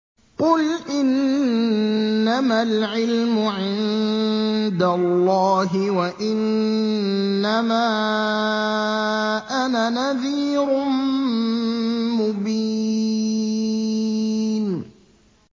قُلْ إِنَّمَا الْعِلْمُ عِندَ اللَّهِ وَإِنَّمَا أَنَا نَذِيرٌ مُّبِينٌ